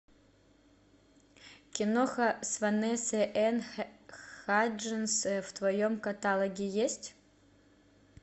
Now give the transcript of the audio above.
киноха с ванессой энн хадженс в твоем каталоге есть